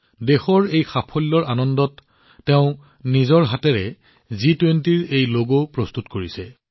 দেশৰ এই সাফল্যৰ আনন্দৰ মাজতে তেওঁ নিজৰ হাতেৰে বুই জি২০ৰ এই লগ প্ৰস্তুত কৰিছে